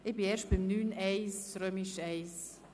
Ich bin erst bei I., Kapitel 9.1.